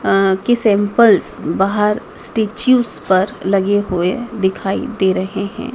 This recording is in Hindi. अ की सैंपल्स बाहर स्टेच्यूस पर लगे हुए दिखाई दे रहे हैं।